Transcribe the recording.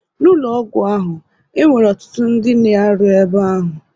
N'ụlọ ọgwụ ahụ, e nwere ọtụtụ ndị na-arụ ebe ahụ.